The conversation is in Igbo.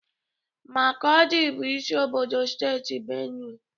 Makọdị bụ isi obodo steeti Benue.